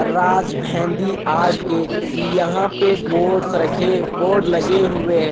राज Mehndi art के यहां पे बोर्ड्स रखे बोर्ड लगे हुए है।